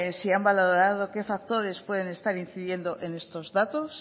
si han valorado qué factores pueden estar incidiendo en estos datos